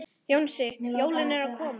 Jónsi, jólin eru komin.